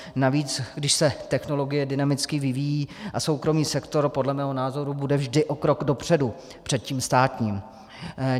Navíc když se technologie dynamicky vyvíjí a soukromý sektor, podle mého názoru, bude vždy o krok dopředu před tím státním.